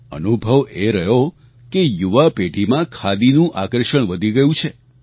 અનુભવ એ રહ્યો કે યુવા પેઢીમાં ખાદીનું આકર્ષણ વધી ગયું છે